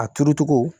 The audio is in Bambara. A turu cogo